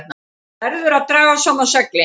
Verður að draga saman seglin